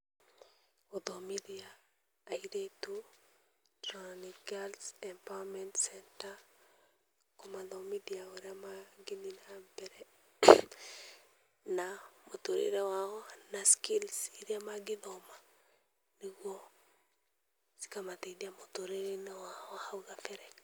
Gũthomithia arĩtu girls empowerment center kũmathomithia ūrīa magethiĩ na mbere na mũtũrĩre wao na skills iria magĩthoma nĩguo cikamateithia mũtũrĩrenĩ wao wa hau kabere.